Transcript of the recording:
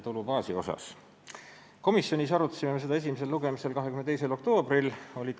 Me arutasime seda eelnõu komisjonis enne esimest lugemist siin saalis 22. oktoobril.